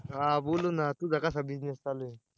हा बोलू ना, तुझा कसा business चालू आहे?